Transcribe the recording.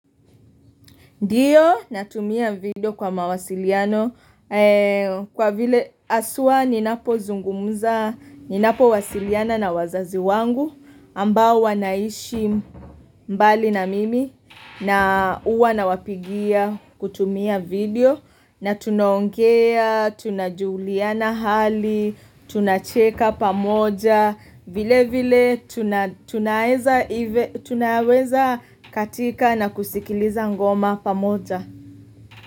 Ndiyo natumia video kwa mawasiliano kwa vile haswa ninapozungumuza ni napo wasiliana na wazazi wangu ambao wanaishi mbali na mimi na uwa na wapigia kutumia video na tunaongea, tunajuliana hali, tunacheka pamoja vile vile tunaweza katika na kusikiliza ngoma pamoja.